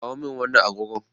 Kawo min wannan agogon.